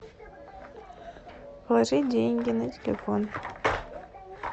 положи деньги на телефон